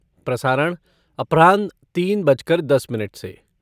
प्रसारण अपराह्न तीन बज कर दस मिनट से।